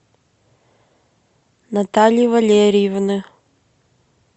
натальи валерьевны